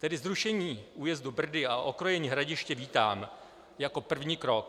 Tedy zrušení újezdu Brdy a okrojení Hradiště vítám jako první krok.